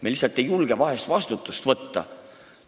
Me lihtsalt ei julge vahel vastutust võtta.